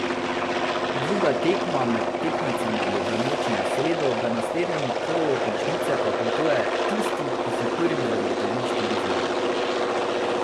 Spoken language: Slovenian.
Druga tekma med tekmecema bo v noči na sredo, v naslednje kolo končnice pa potuje tisti, ki si prvi zagotovi štiri zmage.